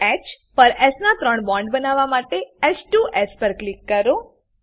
ઓહ પર એસ ના ત્રણ બોન્ડ બનવા માટે h2એસ પર ક્લિક કરો